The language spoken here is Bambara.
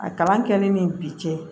A kalan kɛli ni bi cɛ